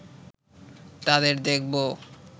তাদের দেখব